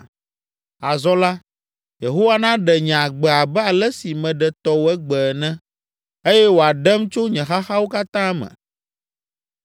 Azɔ la, Yehowa naɖe nye agbe abe ale si meɖe tɔwò egbe ene; eye wòaɖem tso nye xaxawo katã me.”